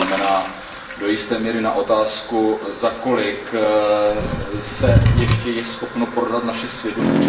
To znamená do jisté míry na otázku, za kolik se ještě je schopno prodat naše svědomí.